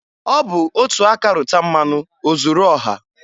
Ọ bụ otu aka rụta mmanụ ozuru ọha.